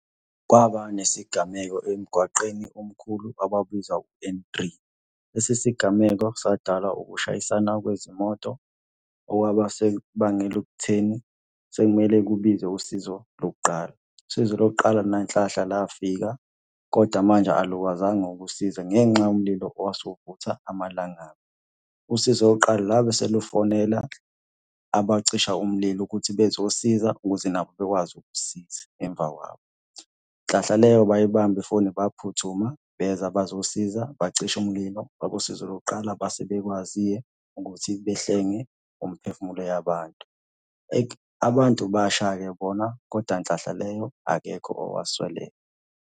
Kwaba nesigameko emgwaqeni omkhulu abawubiza u-N three. Lesi sigameko sadalwa ukushayisana kwezimoto okwaba sekubangela ekutheni sekumele kubize usizo lokuqala. Usizo lokuqala nangenhlahla la fika, koda manje alukwazanga ukusiza ngenxa yomlilo owase uvutha amalangabi. Usizo lokuqala labe selufonela abacisha umlilo ukuthi bezosiza ukuze nabo bekwazi ukusisiza emva kwabo. Nhlahla leyo bayibamba ifoni baphuthuma beza bazosiza bacisha umlilo. Abosizo lokuqala base bekwazi-ke ukuthi behlenge umphefumulo yabantu. Abantu basha-ke bona koda nhlahla leyo akekho owasweleka.